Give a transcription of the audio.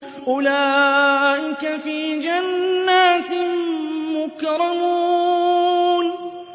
أُولَٰئِكَ فِي جَنَّاتٍ مُّكْرَمُونَ